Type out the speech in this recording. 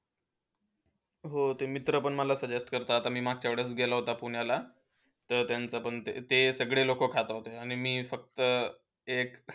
हो, तो मित्र पण माझा suggest करतात आणि मागच्यावेळेस गेला होता पुण्याला, तेव्हा त्यांच्यापण ते सगडे लोक खात होते आणि मी फक्त एक,